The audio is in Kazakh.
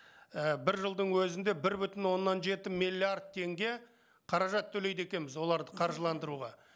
і бір жылдың өзінде бір бүтін оннан жеті миллиард теңге қаражат төлейді екенбіз оларды қаржыландыруға